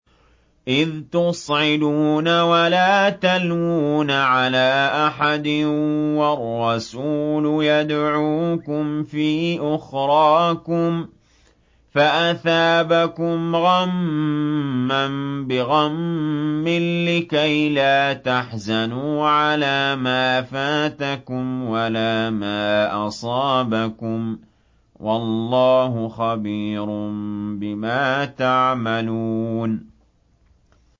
۞ إِذْ تُصْعِدُونَ وَلَا تَلْوُونَ عَلَىٰ أَحَدٍ وَالرَّسُولُ يَدْعُوكُمْ فِي أُخْرَاكُمْ فَأَثَابَكُمْ غَمًّا بِغَمٍّ لِّكَيْلَا تَحْزَنُوا عَلَىٰ مَا فَاتَكُمْ وَلَا مَا أَصَابَكُمْ ۗ وَاللَّهُ خَبِيرٌ بِمَا تَعْمَلُونَ